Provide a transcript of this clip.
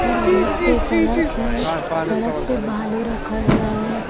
और बीच से सड़क है सड़क पे बालू रखा हुआ है।